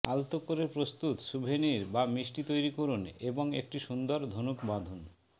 আলতো করে প্রস্তুত স্যুভেনির বা মিষ্টি তৈরি করুন এবং একটি সুন্দর ধনুক বাঁধুন